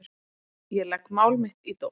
Ég legg mál mitt í dóm.